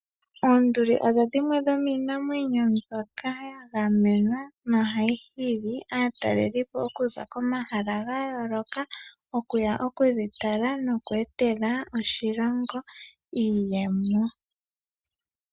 Oonduli odhi dhimwe dhomiinamwenyo mbyoka ya gamenwa nohayi hili aatalelipo okuza komahala ga yooloka okuya okudhi tala noku etela oshilongo iiyemo.